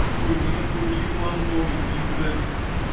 такой никакой не юморной не блять